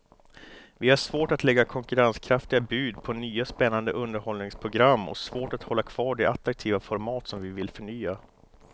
Vi har svårt att lägga konkurrenskraftiga bud på nya spännande underhållningsprogram och svårt att hålla kvar de attraktiva format som vi vill förnya.